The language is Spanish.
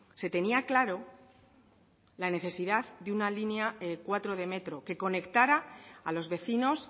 se tenía claro la necesidad de una línea cuatro de metro que conectará a los vecinos